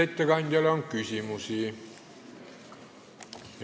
Kas ettekandjale on küsimusi?